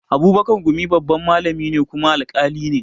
Abubakar gumi babban malami ne kuma alƙali ne